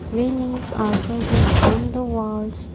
railings are persent on the walls.